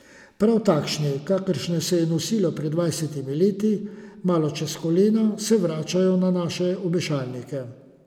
Prav takšni, kakršne se je nosilo pred dvajsetimi leti, malo čez kolena, se vračajo na naše obešalnike.